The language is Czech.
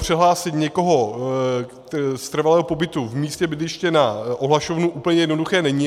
Přehlásit někoho z trvalého pobytu v místě bydliště na ohlašovnu úplně jednoduché není.